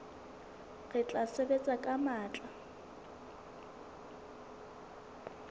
re tla sebetsa ka matla